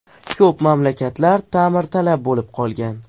Ko‘p maktablar ta’mirtalab bo‘lib qolgan.